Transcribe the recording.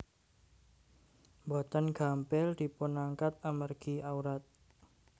Boten gampil dipunangkat amargi awrat